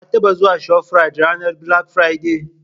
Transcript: Ka taɓa zuwa shafrit ranar "bilak firade"?